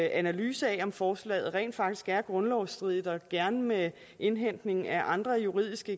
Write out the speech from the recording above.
analyse af om forslaget rent faktisk er grundlovsstridigt og gerne med indhentning af andre juridiske